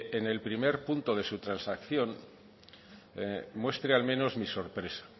en el primer punto de su transacción muestre al menos mi sorpresa